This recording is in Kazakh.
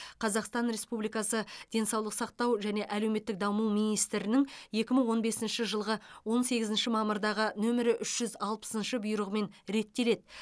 қазақстан республикасы денсаулық сақтау және әлеуметтік даму министрінің екі мың он бесінші жылғы он сегізінші мамырдағы нөмірі үш жүз алпысыншы бұйрығымен реттеледі